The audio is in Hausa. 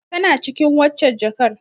Tana cikin waccen jakar.